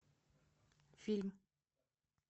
фильм